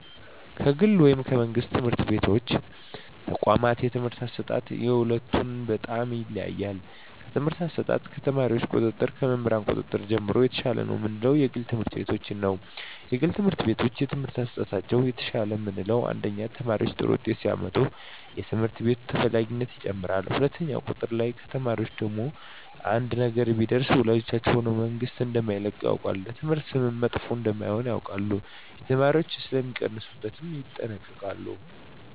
ከግል ወይም ከመንግሥት የትምህርት ተቋዋማት የትምህርት አሰጣጥ የሁለቱ በጣም ይለያያል ከትምህርት አሰጣጥ ከተማሪዎች ቁጥጥር ከመምህር ቁጥጥር ጀምሮ የተሻለ ነው ምለው የግል ትምህርት ቤቶችን ነዉ የግል ትምህርት ቤቶች የትምህርት አሠጣጣቸው የተሻለ ምለው አንደኛ ተማሪዎች ጥሩ ውጤት ሲያመጡ የትምህርት ቤቱ ተፈላጊነት ይጨምራል ሁለትኛው ቁጥጥር ላይ ከተማሪዎች ላይ አንድ ነገር ቢደርስ ወላጆች ሆነ መንግስት እደማይለቀው ያውቃል ለትምህርት ስምም መጥፎ እደሜሆን እና የተማሪዎች ሥለሚቀንሡበት ይጠነቀቃሉ